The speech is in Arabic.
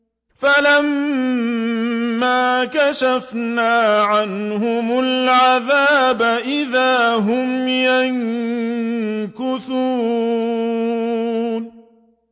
فَلَمَّا كَشَفْنَا عَنْهُمُ الْعَذَابَ إِذَا هُمْ يَنكُثُونَ